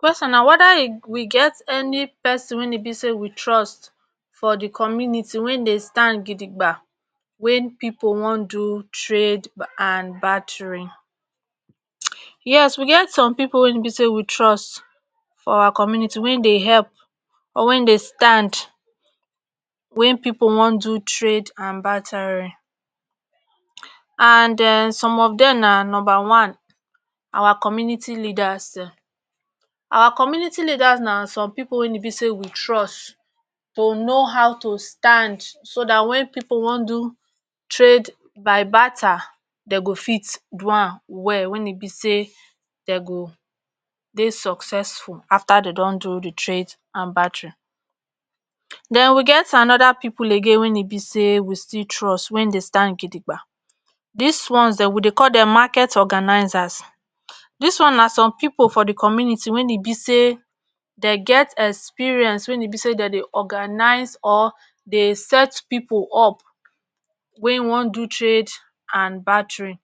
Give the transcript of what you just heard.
person na weda we get any person wey e be say we trust for di community wey dey stand gidigba wey pipo wan do trade and batrin yes we get som pipo be say we trust for our community wey dey epp or wen dey stand wen pipo wan do trade an barterin and den some of dem na numba one our community leaders dem, our community leaders na som pipo weyn e be say we trus to no how to stand so dat wen pipo wan do trade by barter dem g fit do am well wen e be say den go dey successful after den don do di trade and batery. dn we get anoda pipo again wen e be say we still trus wen dey stand gidigba dis ones dem we dey call dem market organisers dis one na som pipo for di community wen e be say den get experience wen e be say den dey organize or den dey set pipo up wey wan do trade and baterin,